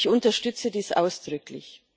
Ich unterstütze dies ausdrücklich.